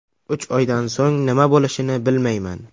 Uch oydan so‘ng nima bo‘lishini bilmayman.